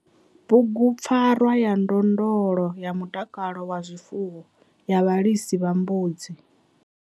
Bugu PFARWA YA NDONDOLO YA MUTAKALO WA ZWIFUWO YA VHALISA VHA MBUDZI.